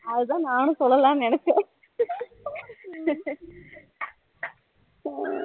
அது தான் நானும் சொல்லலாம்னு நினச்சேன் ஹம்